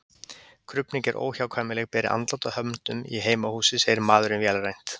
Krufning er óhjákvæmileg beri andlát að höndum í heimahúsi, segir maðurinn vélrænt.